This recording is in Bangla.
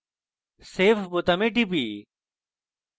save বোতামে টিপি